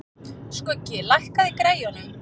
Skuggi, lækkaðu í græjunum.